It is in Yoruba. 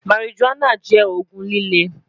marijuana jẹ oogun lile